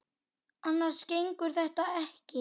Annars gengur þetta ekki.